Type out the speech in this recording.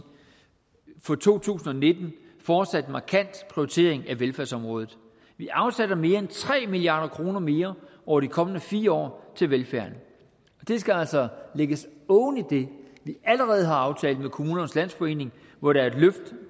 for to tusind og nitten fortsat en markant prioritering af velfærdsområdet vi afsætter mere end tre milliard kroner mere over de kommende fire år til velfærden og det skal altså lægges oven i det vi allerede har aftalt med kommunernes landsforening hvor der er et løft